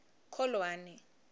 kholwane